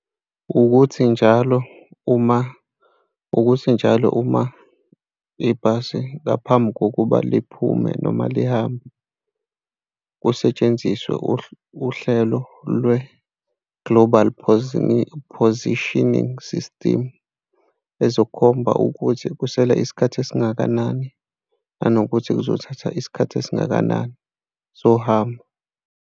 Ukuthi njalo uma, ukuthi njalo uma ibhasi ngaphambi kokuba liphume noma lihambe, kusetshenziswe uhlelo lwe-global poisoning, positioning system, ezokhomba ukuthi kusele isikhathi esingakanani, nanokuthi kuzothatha isikhathi esingakanani sohambo.